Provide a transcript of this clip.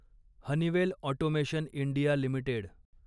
Honeywell Automation India limited